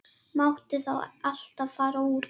Máttu þá alltaf fara út?